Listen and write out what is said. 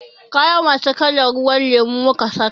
Kaya masu kalan ruwan lemo muka saka.